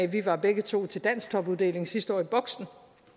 vi var begge to til dansktopuddeling sidste år i boxen